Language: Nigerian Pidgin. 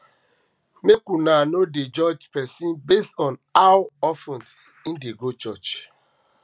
make una um no dey judge pesin based on how um of ten im dey go church